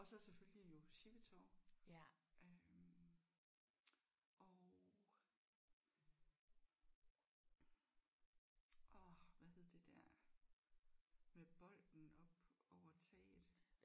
Og så selvfølgelig jo sjippetov øh og ah hvad hed det der med bolden op over taget?